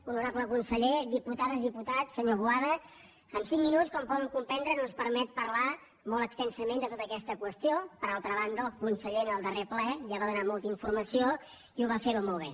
honorable conseller diputades diputats senyor boada cinc minuts com poden comprendre no ens permeten parlar molt extensament de tota aquesta qüestió per altra banda el conseller en el darrer ple ja va donar molta informació i ho va fer molt bé